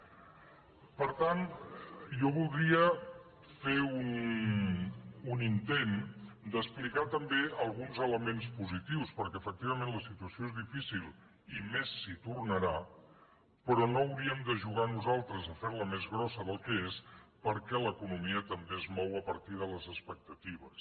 per tant jo voldria fer un intent d’explicar també alguns positius perquè efectivament la situació és difícil i més s’hi tornarà però no hauríem de jugar nosaltres a fer la més gran del que és perquè l’economia també es mou a partir de les expectatives